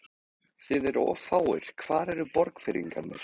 Þið eruð of fáir, hvar eru Borgfirðingarnir?